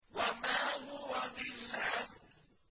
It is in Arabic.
وَمَا هُوَ بِالْهَزْلِ